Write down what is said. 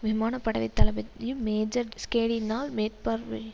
விமான படை தளபதி மேஜர் ஷ்கேடியினால் மேற்பார்வை